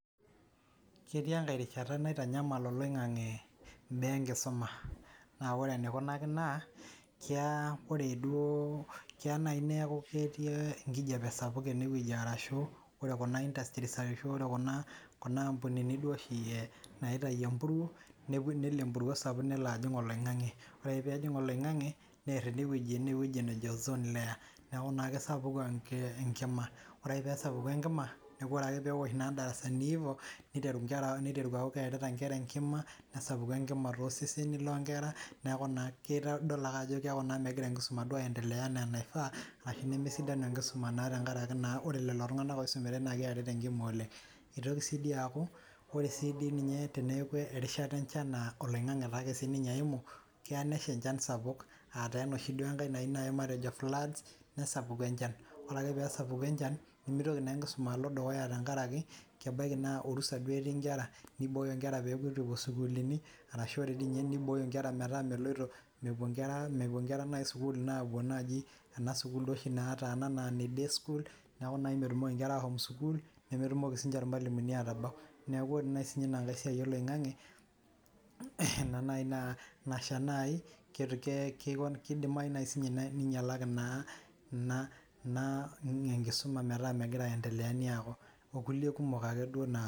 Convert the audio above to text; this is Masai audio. Ketii enkae rishata naitanyamala eloing'ang'e imbaa enkisuma, naa kore eneikunaki naa keyaa kore duo, keya nai neaku ketii enkijape sapuk oleng eneweji arashu ore kuna industries arashu kuna ampunini oshi naitaio empuro, nelo empuro sapuk nelo ajing' eloing'ang'e, ore ake peejing' eloing'ang'e near enewueji nejo ozone layer neaku na kesapuku enkima. Ore ake peesapuku enkima, neaku ore ake peosh naa ildarasani, neiteru nkera, neiteru aaku keyakita nkera nkima, nesapuku enkima too seseni loo nkera neaku naa keitadulu ake ajo keaku megira nkisuma duo aendelea enaa eneifaa ashu nemesidanu enkisuma naa tengaraki naa ore ilo tunganak oisumatae naa kerita enkima oleng. Eitoki sii dei ninye aaku ore sii dei ninye teneaku erishata enchan oloing'ang'e siake ninye eimu, keya nesha inshan sapuk aataa enoshi duo nkae nai matejo floods nesapuku enchan. Ore peesapuku enchan, nemeitoki naa nkisuma alo dukuya tengaraki kebaki naa orusa etiii nkera, neibooyo nkera peekipo sukuulini arashu dei ninye neibooyo nkera metaa meloto, mepo nkera sukuula naa naji ena sukuul soi oshi naata ena naa dei sukuul, neaku naa metumoki nkera aashom sukul, nemetumoki sii ninche irmwalumuni atabau. Naaku ore sii ninye ina nkae siai eloing'ang'e ina nai naa nashata nai keidimayu sii inye neiynalaki naa ina ninye nkisuma mataa megira aiendelea okulie kumok naake naa.